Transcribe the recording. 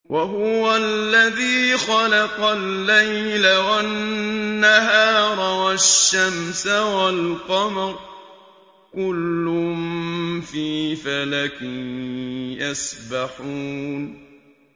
وَهُوَ الَّذِي خَلَقَ اللَّيْلَ وَالنَّهَارَ وَالشَّمْسَ وَالْقَمَرَ ۖ كُلٌّ فِي فَلَكٍ يَسْبَحُونَ